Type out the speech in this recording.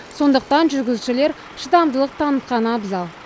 сондықтан жүргізушілер шыдамдылық танытқаны абзал